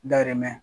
Dayirimɛ